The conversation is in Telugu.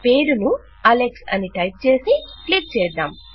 పేరు ను అలెక్స్ అని టైప్ చేసి క్లిక్ చేద్దాం